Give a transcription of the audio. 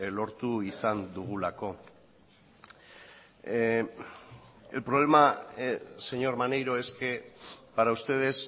lortu izan dugulako el problema señor maneiro es que para ustedes